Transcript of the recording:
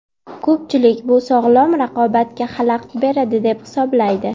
Ko‘pchilik bu sog‘lom raqobatga xalaqit beradi deb hisoblaydi.